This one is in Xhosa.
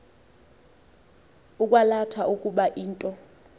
ukwalatha ukuba into